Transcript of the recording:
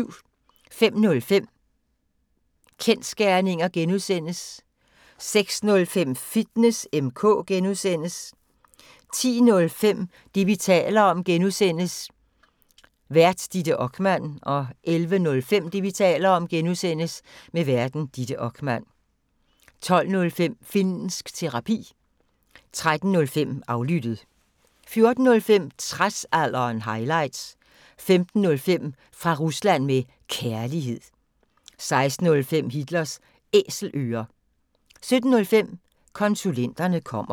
05:05: Kensgerninger (G) 06:05: Fitness M/K (G) 10:05: Det, vi taler om (G) Vært: Ditte Okman 11:05: Det, vi taler om (G) Vært: Ditte Okman 12:05: Finnsk Terapi 13:05: Aflyttet 14:05: Tradsalderen – highlights 15:05: Fra Rusland med Kærlighed 16:05: Hitlers Æselører 17:05: Konsulenterne kommer